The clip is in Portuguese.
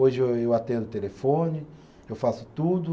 Hoje eu eu atendo o telefone, eu faço tudo.